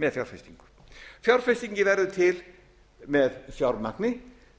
með fjárfestingu fjárfestingin verður til með fjármagni